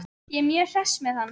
Ég er mjög hress með hann.